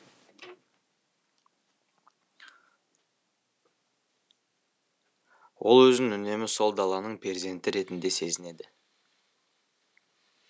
ол өзін үнемі сол даланың перзенті ретінде сезінеді